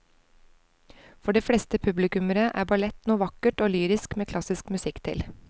For de fleste publikummere er ballett noe vakkert og lyrisk med klassisk musikk til.